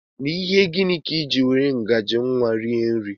N'ihi gịnị ka I jị were ngaji nwa rie nri?